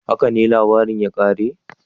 "Haka ne labarin ya kare?"